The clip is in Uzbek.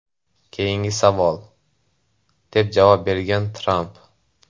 Keyingi savol!” deb javob bergan Tramp.